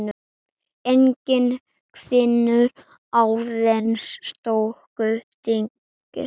Enginn hvinur, aðeins stöku dynkir.